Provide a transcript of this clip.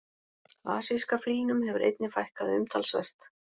Asíska fílnum hefur einnig fækkað umtalsvert.